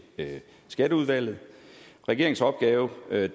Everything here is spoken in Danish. skatteudvalget regeringens opgave da